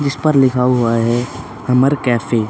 जिस पर लिखा हुआ है हमर कैफे --